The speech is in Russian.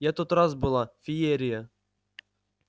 я тот раз была феерия